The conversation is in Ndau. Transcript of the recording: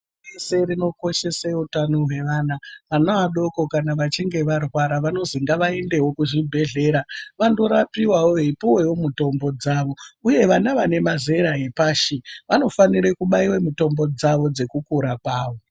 Bato rese rinokoshese utano wevana vana vadoko kana vachinge varwara vanozi ngavaendewo kuzvibhedhlera vandorapiwawo veyi ouwewo mitombo dzavo uye vana vane mazera epashi vanofanire kubayirwe mitombo dzawo dekukura kwavo.